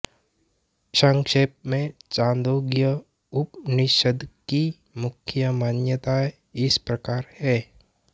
संक्षेप में छांदोग्य उपनिषद् की मुख्य मान्यताएँ इस प्रकार हैं